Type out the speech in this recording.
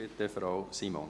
Bitte, Frau Simon.